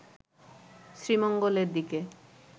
শ্রীমঙ্গলের দিকে